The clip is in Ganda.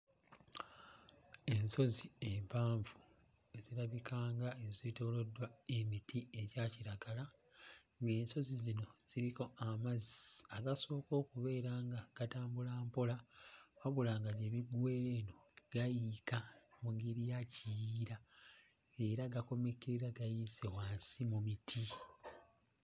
Ensozi empanvu ezirabika nga ezeetooloddwa emiti egya kiragala ng'ensozi zino ziriko amazzi akasooka okubeera nga gatambula mpola wabula nga gye biggwera gayiika mu ngeri ya kiyiira era gakomekkereza gayiise wansi mu biti.